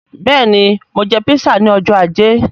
Bẹẹni, Mo jẹ písà ní ọjọ́ ajé.